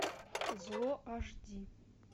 зло аш ди